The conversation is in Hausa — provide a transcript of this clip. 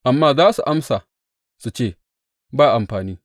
Amma za su amsa su ce, Ba amfani.